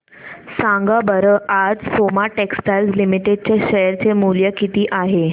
सांगा बरं आज सोमा टेक्सटाइल लिमिटेड चे शेअर चे मूल्य किती आहे